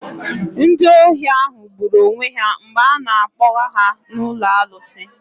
Ndị ohi ahụ gburu onwe ha mgbe a na-akpoga ha na alụsi.